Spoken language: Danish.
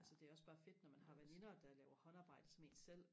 altså det er også bare fedt når man har veninder der laver håndarbejde som en selv